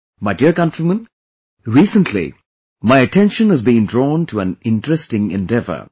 My dear countrymen, recently my attention has been drawn to an interesting endeavor